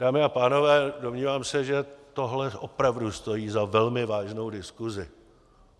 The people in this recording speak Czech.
Dámy a pánové, domnívám se, že tohle opravdu stojí za velmi vážnou diskusi.